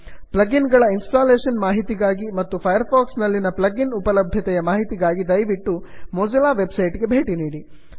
plug in ಗಳ installation ಮಾಹಿತಿಗಾಗಿ ಮತ್ತು ಫೈರ್ ಫಾಕ್ಸ್ ನಲ್ಲಿನ ಪ್ಲಗಿನ್ಸ್ ಉಪಲಭ್ಯತೆಯ ಮಾಹಿತಿಗಾಗಿ ದಯವಿಟ್ಟು ಮೊಜಿಲ್ಲಾ websiteಗೆ ಭೇಟಿ ನೀಡಿ